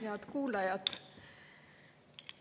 Head kuulajad!